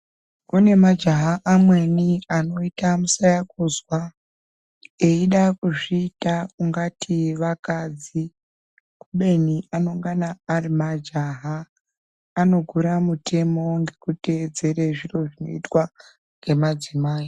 Kune majaha amweni anoita musayakuzwa, eyida kuzviita ungati vakadzi kubeni anongana ari majaha. Ano gura mutemo ngeku teedzere zviro zvinoitwa ngemadzimai.